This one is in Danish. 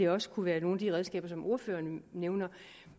også kunne være nogle af de redskaber som ordføreren nævner